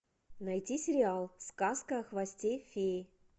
найти сериал сказка о хвосте феи